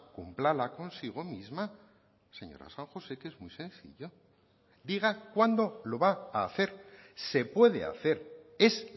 cúmplala consigo misma señora san josé que es muy sencillo diga cuándo lo va a hacer se puede hacer es